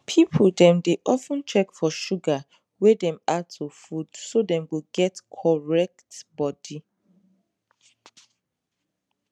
people dem dey of ten check for sugar wey dem add to food so dem go get correct body